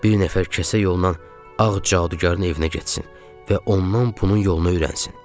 Bir nəfər kəsə yolla ağ cadugərin evinə getsin və ondan bunun yolunu öyrənsin.